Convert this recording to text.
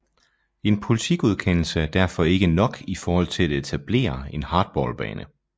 En politigodkendelse er derfor ikke nok i forhold til at etablere en hardballbane